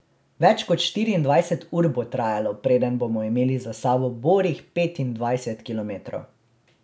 Več kot štiriindvajset ur bo trajalo, preden bomo imeli za sabo borih petindvajset kilometrov!